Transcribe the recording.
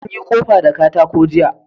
Mun yi ƙofa da katako jiya